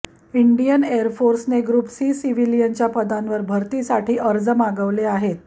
Indian air फोर्सने group C सिव्हिलियनच्या पदांवर भरतीसाठी अर्ज मागवले आहेत